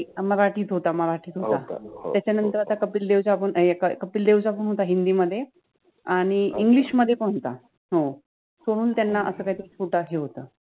एक मराठि त होता त्याच्यानंतर आता कपिल देवचा पण कपिल देवचा पण होता हिंदि मधे आणी ENGLISH मधे पण होता हो कोण त्याना अस काहितरि होता